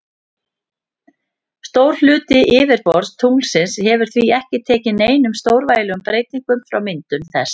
Stór hluti yfirborðs tunglsins hefur því ekki tekið neinum stórvægilegum breyting frá myndun þess.